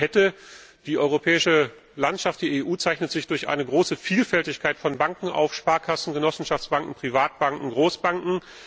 Die europäische Landschaft, die EU, zeichnet sich durch eine große Vielfältigkeit von Banken auf Sparkassen, Genossenschaftsbanken, Privatbanken, Großbanken.